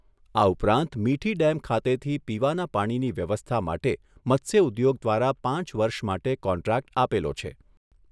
આ ઉપરાંત મીઠી ડેમ ખાતેથી પીવાના પાણીની વ્યવસ્થા માટે મત્સ્ય ઉદ્યોગ દ્વારા પાંચ વર્ષ માટે કોન્ટ્રાકટ આપેલો છે.